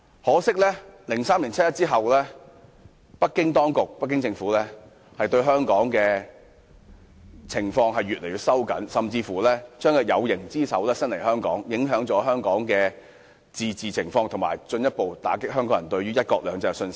可惜的是，在2003年七一遊行後，北京政府對香港的管控日益收緊，甚至將有形之手伸至香港，影響香港的自治情況，進一步打擊香港人對"一國兩制"的信心。